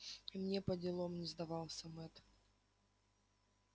и мне поделом не сдавался мэтт